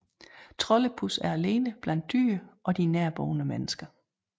Troldepus er alene blandt dyr og de nærboende mennesker